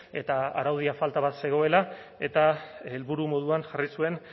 eta araudia falta bat zegoela eta helburu moduan jarri zuen